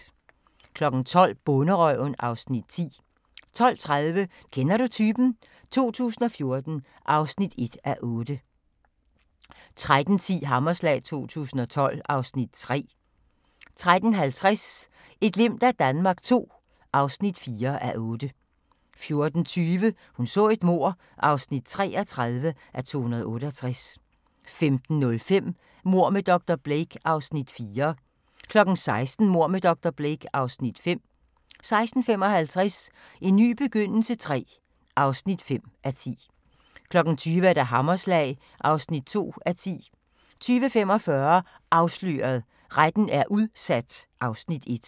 12:00: Bonderøven (Afs. 10) 12:30: Kender du typen? 2014 (1:8) 13:10: Hammerslag 2012 (Afs. 3) 13:50: Et glimt af Danmark II (4:8) 14:20: Hun så et mord (33:268) 15:05: Mord med dr. Blake (Afs. 4) 16:00: Mord med dr. Blake (Afs. 5) 16:55: En ny begyndelse III (5:10) 20:00: Hammerslag (2:10) 20:45: Afsløret – Retten er udsat (Afs. 1)